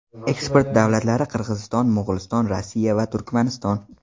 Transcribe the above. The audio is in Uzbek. Eksport davlatlari Qirg‘iziston, Mo‘g‘uliston, Rossiya va Turkmaniston.